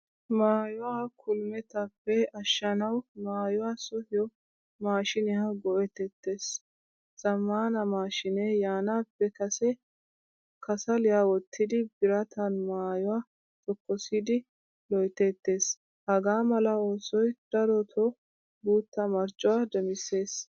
Maayuwaa kul'mettappe ashshanawu maayuwaa sohiyo mashshiniya go'etettees. Zamaana mashshine yaanappe kase kasaliyaa wottidi biratan maayuwaa tokosidi loyttettees. Hagaamala oosoy daroto guta marccuwa demisees.